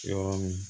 Yɔrɔ min